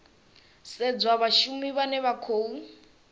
sedzwa vhashumi vhane vha khou